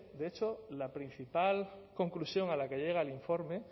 de hecho la principal conclusión a la que llega el informe